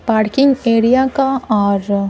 parking area का और--